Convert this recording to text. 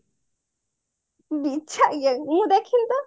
ବିଛା game ମୁଁ ଦେଖିନି ତ